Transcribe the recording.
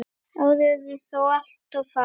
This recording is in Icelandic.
Árin urðu þó alltof fá.